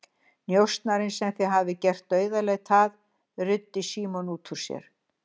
Njósnarinn sem þið hafið gert dauðaleit að, ruddi Símon út úr sér.